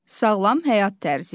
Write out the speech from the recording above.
Sağlam həyat tərzi.